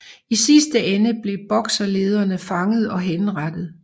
I sidste ende blev Bokserledere fanget og henrettet